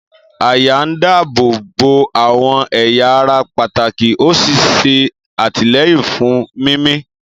Àyà ń dáàbò bo àwọn ẹ̀yà ara pàtàkì ó sì ń ṣe àtìlẹ́yìn fún mímí.